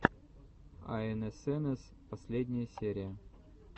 аэнэсэнэс последняя серия